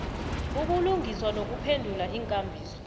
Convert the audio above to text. ubulungiswa nokuphendula iinkambiso